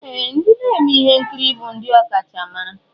Ee! Ndị na-eme ihe nkiri bụ ndị ọkachamara.